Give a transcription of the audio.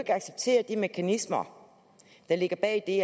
accepterer de mekanismer der ligger bag det